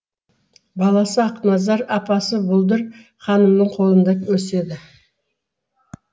баласы ақназар апасы бұлдыр ханымның қолында өседі